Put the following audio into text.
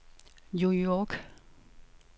New York